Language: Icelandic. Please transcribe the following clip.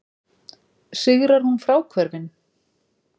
Sigrar hún fráhvörfin?